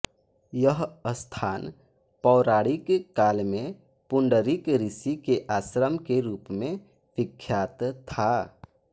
यह स्थान पौराणिक काल में पुंडरिक ऋषि के आश्रम के रूप में विख्यात था